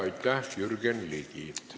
Aitäh, Jürgen Ligi!